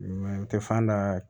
N tɛ fan da